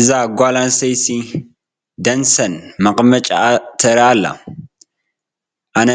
እዛ ጓል ኣነስተይቲ ደንደስ መቐመጭኣ ተርኢ ኣላ፡፡ ኣነ